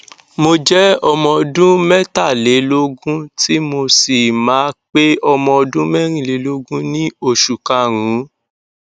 mo jẹ ọmọ ọdún mẹtàlélógún tí mo sì máa pé ọmọ ọdún mẹrìnlélógún ní oṣù karùnún